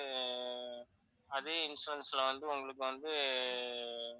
அதே insurance ல உங்களுக்கு வந்து